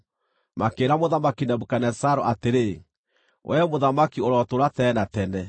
makĩĩra Mũthamaki Nebukadinezaru atĩrĩ, “Wee mũthamaki ũrotũũra tene na tene!